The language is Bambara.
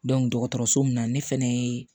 dɔgɔtɔrɔso min na ne fɛnɛ ye